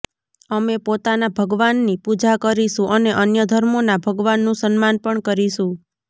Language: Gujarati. અમે પોતાનાં ભગવાનની પુજા કરીશું અને અન્ય ધર્મોના ભગવાનનું સન્માન પણ કરીશું